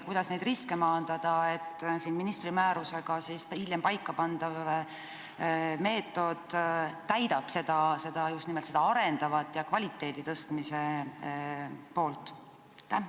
Kuidas neid riske maandada, et ministri määrusega hiljem paikapandav meetod täidaks just nimelt seda arendavat ja kvaliteedi parandamise ülesannet?